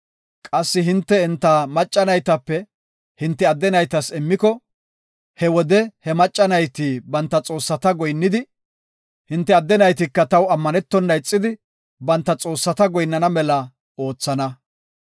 Qassi hinte enta macca naytape hinte adde naytas immiko, he wode he macca nayti banta xoossata goyinnidi, hinte adde naytika taw ammanetona ixidi, banta xoossata goyinnana mela oothana.